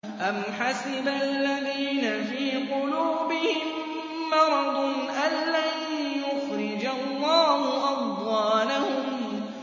أَمْ حَسِبَ الَّذِينَ فِي قُلُوبِهِم مَّرَضٌ أَن لَّن يُخْرِجَ اللَّهُ أَضْغَانَهُمْ